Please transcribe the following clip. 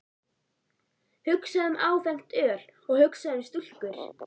Hugsaðu um áfengt öl og hugsaðu um stúlkur!